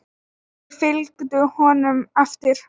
Þeir fylgdu honum eftir.